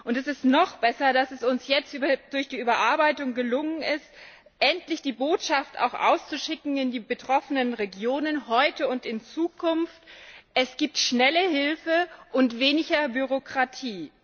Es ist noch besser, dass es uns jetzt durch die Überarbeitung gelungen ist, endlich die Botschaft auszuschicken in die betroffenen Regionen, heute und in Zukunft Es gibt schnelle Hilfe und weniger Bürokratie.